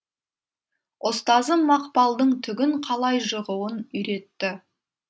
ұстазым мақпалдың түгін қалай жығуын үйретті